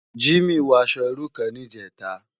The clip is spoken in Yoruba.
Jimi wò aṣò irú kán nijètá